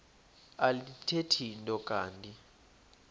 alithethi nto kanti